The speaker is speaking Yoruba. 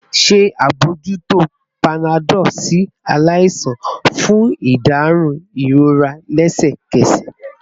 Ṣe abojuto panadol si alaisan fun iderun irora lẹsẹkẹsẹ